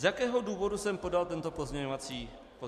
Z jakého důvodu jsem podal tento pozměňovací návrh?